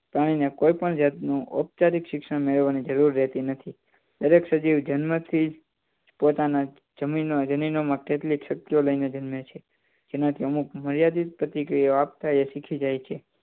પ્રાણી કોઈ પણ ઉચ્ચરીત શિક્ષણ મેળવણી જરૂર રહતી નથી દરેક સજીવ જન્મથી જ પોતાની જમીન અને જમીના માં કેટલીક શક્તિઓ લઈને જન્મે એમાંથી અમુક મર્યાદિત પ્રતિક્રિયા આપતા તે શીખી જાય છે